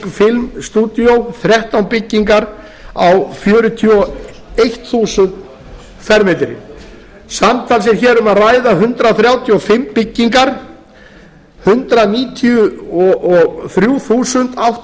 fimm stúdíó þrettán byggingar á fjörutíu og eitt þúsund fermetrann samtals er hér um að ræða hundrað þrjátíu og fimm byggingar hundrað níutíu og þrjú þúsund átta